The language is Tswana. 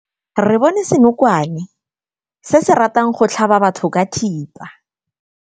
Re bone senokwane se se ratang go tlhaba batho ka thipa.